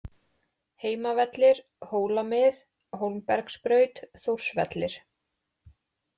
Heimavellir, Hólamið, Hólmbergsbraut, Þórsvellir